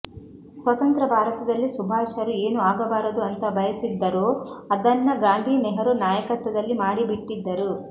ಸ್ವತಂತ್ರ ಭಾರತದಲ್ಲಿ ಸುಭಾಷರು ಏನು ಆಗಬಾರದು ಅಂತ ಬಯಸಿದ್ದರೋ ಅದನ್ನ ಗಾಂಧಿ ನೆಹರು ನಾಯಕತ್ವದಲ್ಲಿ ಮಾಡಿಬಿಟ್ಟಿದ್ದರು